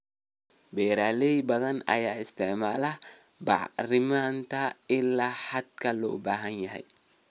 Beeraley badan ayaan isticmaalin bacriminta ilaa xadka loo baahan yahay.